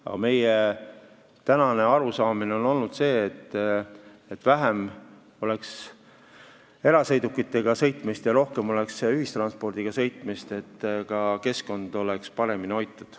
Aga meie arusaam on olnud see, et võiks olla vähem erasõidukitega sõitmist ja rohkem ühistranspordiga sõitmist, et ka keskkond oleks paremini hoitud.